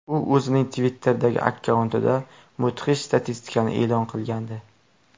U o‘zining Twitter’dagi akkauntida mudhish statistikani e’lon qilgandi.